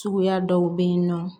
Suguya dɔw bɛ yen nɔ